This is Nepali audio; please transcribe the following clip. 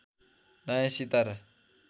नयाँ सितारा